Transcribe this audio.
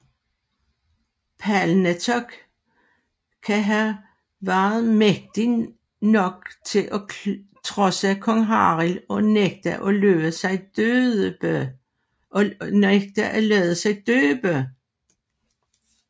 Palnatoke kan have været mægtig nok til at trodse kong Harald og nægte at lade sig døbe